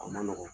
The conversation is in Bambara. A ma nɔgɔn